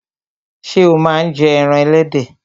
Ṣé o máa ń jẹ ẹran ẹlẹ́dẹ̀?